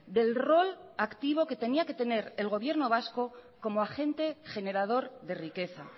del rol activo que tenía que tener el gobierno vasco como agente generador de riqueza